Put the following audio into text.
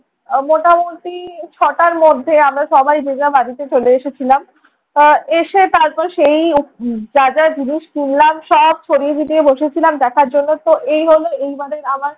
মোটামুটি ছটার মধ্যে আমরা সবাই যে যার বাড়িতে চলে এসেছিলাম। আহ এসে তারপর সেই যা যা জিনিস কিনলাম সব ছড়িয়ে ছিটিয়ে বসেছিলাম দেখার জন্য। তো এই হল এইবারের আমার